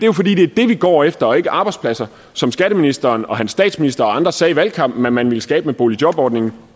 jo fordi det er det vi går efter og ikke arbejdspladser som skatteministeren og hans statsminister og andre sagde i valgkampen at man ville skabe med boligjobordningen